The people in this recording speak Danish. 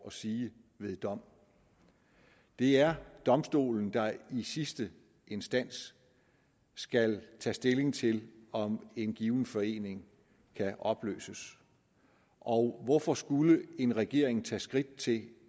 at sige ved dom det er domstolen der i sidste instans skal tage stilling til om en given forening kan opløses og hvorfor skulle en regering tage skridt til